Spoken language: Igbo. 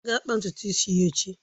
A ga-akpa ntutu isi ya echi